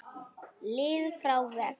lið frá vegg?